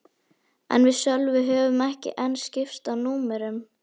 En við Sölvi höfðum ekki enn skipst á númerum.